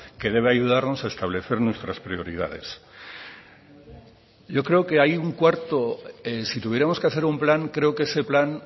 que debe ayudarnos a establecer nuestras prioridades yo creo que hay un cuarto si tuviéramos que hacer un plan creo que ese plan